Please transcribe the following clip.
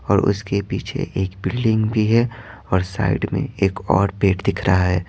और उसके पीछे एक बिल्डिंग भी है और साइड में एक और पेट दिख रहा है।